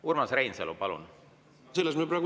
Urmas Reinsalu, palun!